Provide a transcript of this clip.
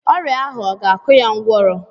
Ọrịa ahụ ọ ga-akụ ya ngwọrọ?